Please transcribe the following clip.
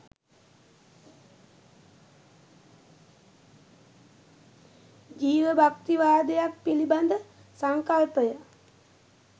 ජීවභක්තිවාදයක් පිළිබඳ සංකල්පය